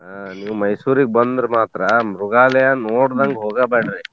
ಹಾ ನೀವ್ ಮೈಸೂರಿಗ್ ಬಂದ್ರ ಮಾತ್ರ ಮೃಗಾಲಯ ನೋಡ್ದಂಗ್ ಹೋಗಬ್ಯಾಡ್ರಿ.